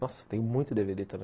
Nossa, tem muito dê vê dê também.